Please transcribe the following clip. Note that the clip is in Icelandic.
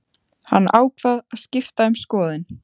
Hann ákvað að skipta um skoðun.